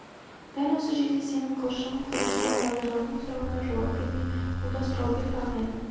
дел осы жерде сенің қылшығың құрыды ма базаралының сұрауына жауап бермей бұл да сұрау берді ағайыным